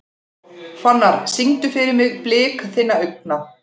Fannar, syngdu fyrir mig „Blik þinna augna“.